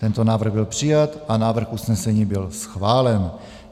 Tento návrh byl přijat a návrh usnesení byl schválen.